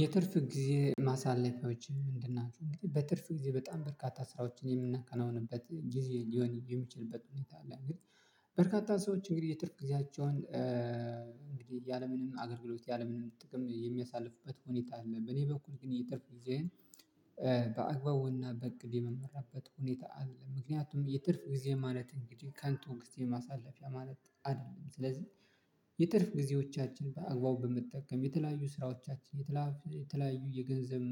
የትርፍ ጊዜ ማሳለፊያዎች ምንድን ናቸው? እንግዲህ በትርፍ ጊዜ በጣም በርካታ ስራዎችን የምናከናውንበት ጊዜ ሊሆን የሚችልበት ሁኔታ አለ። እና በርካታ ሰዎች እንግዲህ የትርፍ ጊዜያቸውን እንግዲህ ያለምንም አገልግሎት ያለምንም ጥቅም የሚያሳልፉበት ሁኔታ አለ። በኔ በኩል ግን የትርፍ ጊዜዬን በአግባቡና በእቅድ የምመራበት ሁኔታ አለ። ምክንያቱም የትርፍ ጊዜ ማለት እንግዲህ ከንቱ ግዜ ማሳለፊያ ማለት አይደለም። ስለዚህ የትርፍ ጊዜዎቻችን በአግባቡ በመጠቀም የተለያዩ ስራዎቻችን የተለያዩ የገንዘብ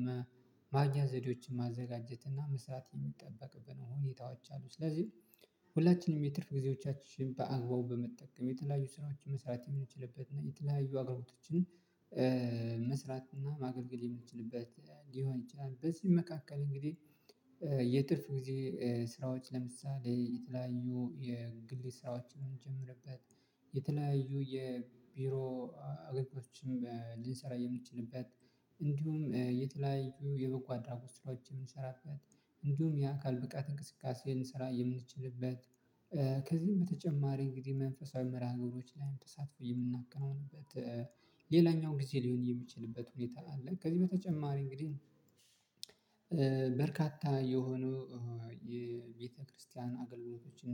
ማግኜ ዘዴዎችን ማዘጋጀት እና መስራት የሚጠበቅብን ሁኔታዎች አሉ። ስለዚህ ሁላችንም የትርፍ ጊዜዎቻችን በአግባቡ በመጠቀም የተለያዩ ስራዎችን መስራት የምንችልበት እና የተለያዩ አገልግሎቶችን መስራት እና ማገልገል የምንችልበት ሊሆን ይችላል። በዚህ መካከል እንግዲህ የትርፍ ጊዜ ስራዎች ለምሳሌ የተለያዩ የግል ስራዎችን የምንጀምርበት የተለያዩ የቢሮ አገልግሎቶችን ልንሰራ የምትችልበት የትርፍ ጊዜዎቻችን በአግባቡ በምትጠቀም የተለያዩ ስራዎቻችን የተለያዩ የገንዘብ ማግያ ዘዴዎችን ማዘጋጀት እና መስራት የሚጠበቅብን ሁኔታዎች አሉ። ስለዚህ ሁላችንም የትርፍ ጊዜዎቻችን በአግባቡ በመጠቀም የተለያዩ ስራዎችን መሰረት የሚችልበት እና የተለያዩ አገልግሎቶችን ከዚህም በተጨማሪ እንግዲህ መንፈሳዊ መርሃ ግብሮች ላይም ተሳትፎ የምናከናውንበት ሌላኛው ጊዜ ሊሆን የሚችልበት ሁኔታ አለ። ከዚህ በተጨማሪ እንግዲህ በርካታ የሆነው የቤተክርስቲያን አገልግሎቶችን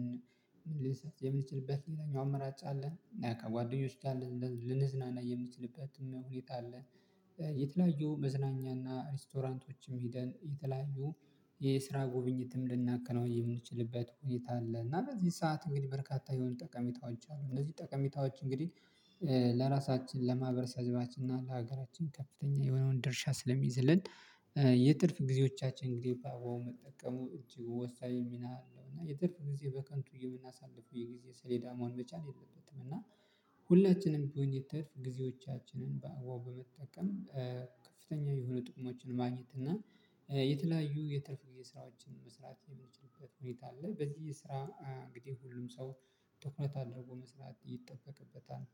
ልንሰጥ የምንችልበት የተኛው አመራጭ አለ። ና ከጓደኞች ጋር ልንዝናና የምንችልበትም ሁኔታ አለ። የተለያዩ መዝናኛና ሬስቶራንቶችም ሄደን የተለያዩ የስራ ጉብኝትም ልናከናውን የምንችልበት ሁኔታ አለ። እና በዚህ ሰዓት እንግዲህ በርካታ የሆኑ ጠቀሜታዎች አሉ። እነዚህ ጠቀሜታዎች እንግዲህ ለራሳችን ለማህበረሰባችን እና ለሀገራችን ከፍተኛ የሆነውን ድርሻ ስለሚይዝልን የትርፍ ጊዜዎቻችን እንግዲህ በአግባቡ መጠቀሙ እጅግ ወሳኝ ሚና አለው። እና የትርፍ ጊዜ በከንቱ የምናሳልፈው የጊዜ ሰሌዳ መሆን መቻል የለበትም። እና ሁላችንም ቢሆን የተርፍ ጊዜዎቻችንን በአግባቡ በመጠቀም ከፍተኛ የሆኑ ጥቅሞችን ማግኘት እና የተለያዩ የትርፍ የስራዎችን መስራት የሚችልበት ሁኔታ አለ። በዚህ ስራ እንግዲህ ሁሉም ሰው ትኩረት አድርጎ መስራት ይጠበቅበታል